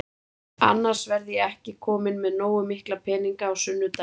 Annars verð ég ekki kominn með nógu mikla peninga á sunnudaginn.